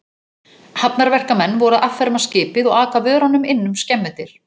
Hafnarverkamenn voru að afferma skipið og aka vörunum inn um skemmudyr.